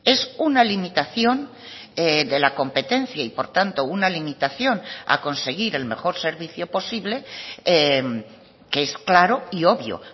es una limitación de la competencia y por tanto una limitación a conseguir el mejor servicio posible que es claro y obvio